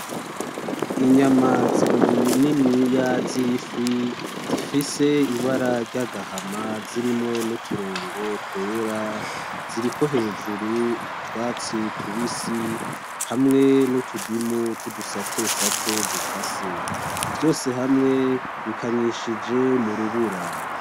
Inyama zibiri niniya z'ifi, zifise ibara ry'agahama zirimwo n'uturongo twera. Ziriko hejuru utwatsi tubisi hamwe nutudimu tw'udusate sate dukase. Vyose hamwe bikanyishije mu rubura.